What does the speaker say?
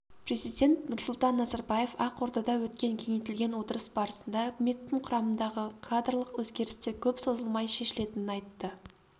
президент нұрсұлтан назарбаев ақордада өткен кеңейтілген отырыс барысында үкіметтің құрамындағы кадрлық өзгерістер көп созылмай шешілетінін айтты